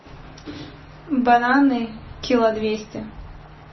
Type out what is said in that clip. бананы кило двести